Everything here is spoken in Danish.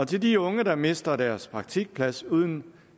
til de unge der mister deres praktikplads uden